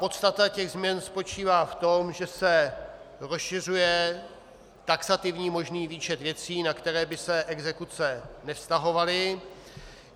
Podstata těch změn spočívá v tom, že se rozšiřuje taxativní možný výčet věcí, na které by se exekuce nevztahovaly.